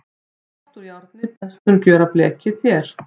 Í pott úr járni best mun gjöra blekið þér.